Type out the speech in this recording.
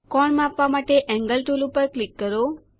કોણ માપવા માટે એન્ગલ ટુલ પર ક્લિક કરો